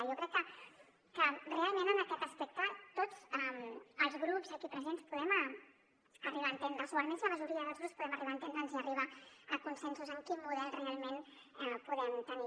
jo crec que realment en aquest aspecte tots els grups aquí presents podem arribar a entendre’ns o almenys la majoria dels grups podem arribar a enten·dre’ns i arribar a consensos sobre quin model realment podem tenir